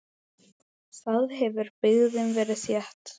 Þar hefur byggðin verið þétt.